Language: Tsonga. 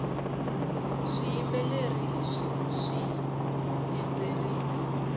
swiyimbeleri swihi endzerile